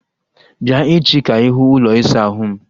Bịa echi ka ịhụ ụlọ ịsa ahụ m